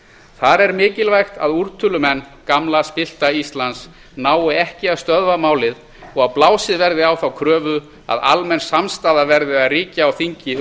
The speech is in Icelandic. þar er mikilvægt að úrtölumenn gamla spillta íslands nái ekki að stöðva málið og að blásið verði á þá kröfu að almenn samstaða verði að ríkja á þingi um